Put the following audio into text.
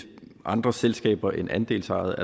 andre selskaber end andelsejede